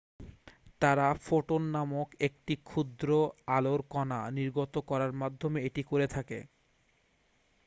"তারা "ফোটন" নামক একটি ক্ষুদ্র আলোর কণা নির্গত করার মাধ্যমে এটি করে থাকে।